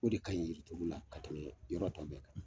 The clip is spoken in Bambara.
O de ka ɲi yirituru la ka tɛmɛ yɔrɔ tɔ bɛɛ kan.